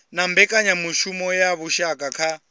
na mbekanyamushumo ya vhushaka kha